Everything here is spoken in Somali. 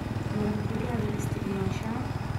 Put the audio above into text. maraq digag ma istacmashaa